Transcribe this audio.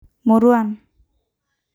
Murruan